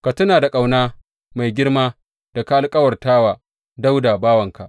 Ka tuna da ƙauna mai girma da ka alkawarta wa Dawuda bawanka.